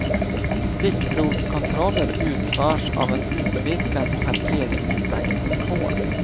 Stickprovskontroller utförs av en utvidgad parkeringsvaktkår.